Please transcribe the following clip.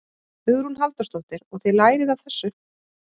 Hugrún Halldórsdóttir: Og þið lærið af þessu?